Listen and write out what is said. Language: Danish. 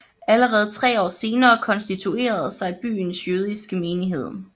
Allerede tre år senere konstituerede sig byens jødiske menighed